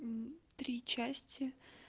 мм три части